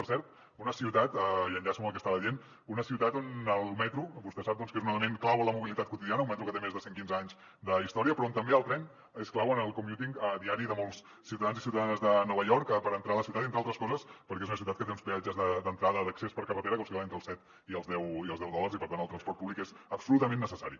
per cert una ciutat i enllaço amb el que estava dient on el metro vostè sap que és un element clau en la mobilitat quotidiana un metro que té més de cent quinze anys d’història però on també el tren és clau en el commuting diari de molts ciutadans i ciutadanes de nova york per entrar a la ciutat entre altres coses perquè és una ciutat que té uns peatges d’entrada d’accés per carretera que oscil·len entre els set i els deu dòlars i per tant el transport públic és absolutament necessari